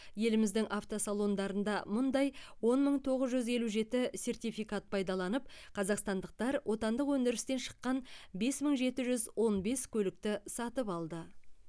еліміздің автосалондарында мұндай он мың тоғыз жүз елу жеті сертификат пайдаланып қазақстандықтар отандық өндірістен шыққан бес мың жеті жүз он бес көлікті сатып алды